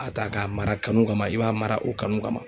A ta k'a mara kanu kama ,i b'a mara o kanu kama.